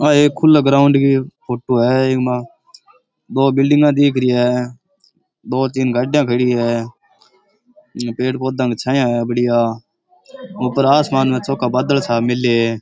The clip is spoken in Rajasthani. आ एक खुला ग्राउंड की फोटो है ईमा दो बिल्डिंगां दिख री है दो तीन गाड़ियां खड़ी है पेड़ पौधां की छाया है बढ़िया ऊपर आसमान मै छोका बादल छा मेल्य है।